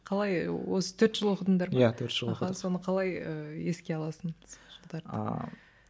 қалай осы төрт жыл оқыдыңдар ма иә төрт жыл оқыдық аха соны қалай ыыы еске аласың сол жылдарды ааа